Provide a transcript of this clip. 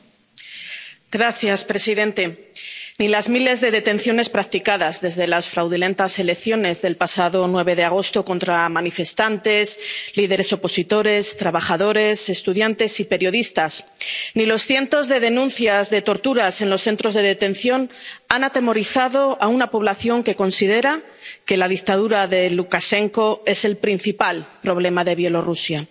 Señor presidente, ni los miles de detenciones practicadas desde las fraudulentas elecciones del pasado 9 de agosto contra manifestantes, líderes opositores, trabajadores, estudiantes y periodistas, ni los cientos de denuncias de torturas en los centros de detención han atemorizado a una población que considera que la dictadura de Lukashenko es el principal problema de Bielorrusia.